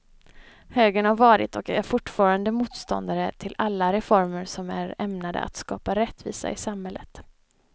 Högern har varit och är fortfarande motståndare till alla reformer som är ämnade att skapa rättvisa i samhället.